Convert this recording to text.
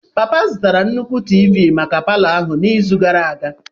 Papa zụtara nnukwu Tiivi maka palọ ahụ n'izu gara aga.